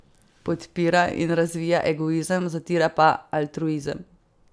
Podpira in razvija egoizem, zatira pa altruizem.